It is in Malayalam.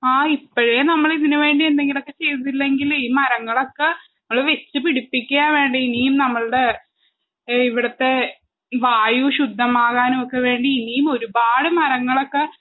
ആ ഇപ്പഴെ നമ്മളിതിന് വേണ്ടി എന്തെങ്കിലൊക്കെ ചെയ്തില്ലെങ്കിലെ ഈ മരങ്ങളൊക്ക ഞമ്മള് വെച്ച് പിടിപ്പിക്കാ വേണ്ടെ ഇനിയും നമ്മൾടെ ഏ ഇവിട്ത്തെ വായു ശുദ്ധമാകാനൊക്കെ വേണ്ടി ഇനിയുമൊരുപാട് മരങ്ങളൊക്കെ